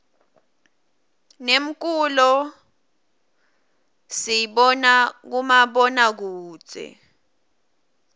nemkulo siyzbona kumabona kudze